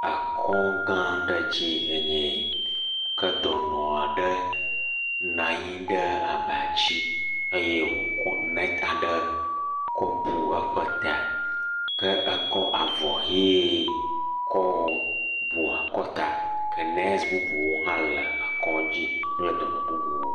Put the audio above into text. Akɔgã aɖe dzi enye yi. Ke dɔnɔ aɖe na nyi ɖe abadzi eye wòkɔ nɛti aɖe kɔbu eƒe ta. Ke ekɔ avɔ ʋee kɔbu akɔta. Ke nɛsi bubuwo hã le akɔ̃dzi kple dɔnɔ bubuwo.